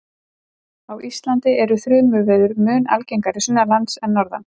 Á Íslandi eru þrumuveður mun algengari sunnanlands en norðan.